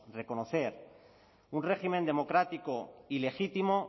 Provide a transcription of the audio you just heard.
reconocer un régimen democrático y legítimo